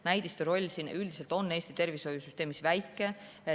Näidiste roll üldiselt on Eesti tervishoiusüsteemis väike.